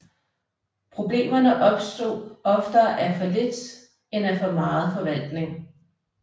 Problemerne opstod oftere af for lidt end af for meget forvaltning